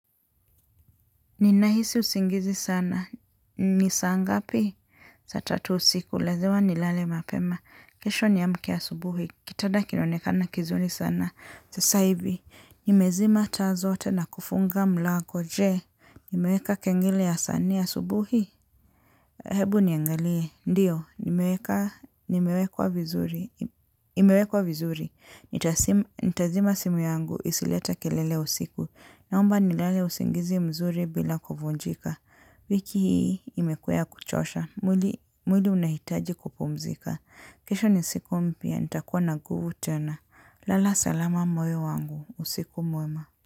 Ninahisi usingizi sana. Ni saa ngapi? Saa tatu usiku. Lazima nilale mapema. Kesho niamke asubuhi. Kitanda kinaonekana kizuri sana. Sasa hivi nimezima taa zote na kufunga mlango. Je. Nimeeka kengele ya saa nne asubuhi? Hebu niangalie. Ndiyo. Imeekwa vizuri. Nitazima simu yangu. Isileta kelele usiku. Naomba nilale usingizi mzuri bila kuvunjika. Wiki hii imekuwa ya kuchosha. Mwili unahitaji kupumzika. Kishe ni siku mpya. Nitakuwa na nguvu tena. Lala salama moyo wangu. Usiku mwema.